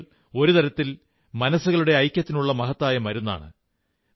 കളികൾ ഒരു തരത്തിൽ മനസ്സുകളുടെ ഐക്യത്തിനുള്ള മഹത്തായ മരുന്നാണ്